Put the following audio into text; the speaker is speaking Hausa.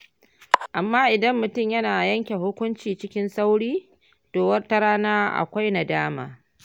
Amma idan mutum yana yanke hukunci cikin sauri, to wata rana akwai nadama.